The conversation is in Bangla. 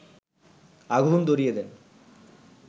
আগুন ধরিয়ে দেন